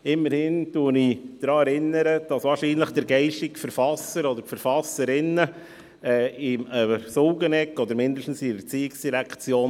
Ich möchte daran erinnern, dass der geistige Verfasser oder die Verfasserinnen an der Sulgeneckstrasse oder sonst irgendwo in der ERZ sitzen.